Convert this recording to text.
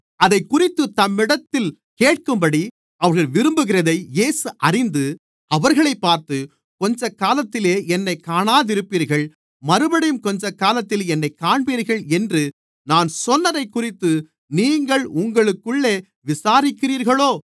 அதைக்குறித்துத் தம்மிடத்தில் கேட்கும்படி அவர்கள் விரும்புகிறதை இயேசு அறிந்து அவர்களைப் பார்த்து கொஞ்சக்காலத்திலே என்னைக் காணாதிருப்பீர்கள் மறுபடியும் கொஞ்சக்காலத்திலே என்னைக் காண்பீர்கள் என்று நான் சொன்னதைக்குறித்து நீங்கள் உங்களுக்குள்ளே விசாரிக்கிறீர்களோ